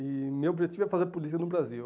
E meu objetivo é fazer política no Brasil.